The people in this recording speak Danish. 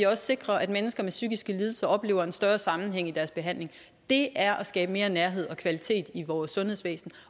også sikrer at mennesker med psykiske lidelser oplever en større sammenhæng i deres behandling det er at skabe mere nærhed og kvalitet i vores sundhedsvæsen